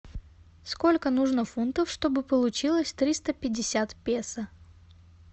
сколько нужно фунтов чтобы получилось триста пятьдесят песо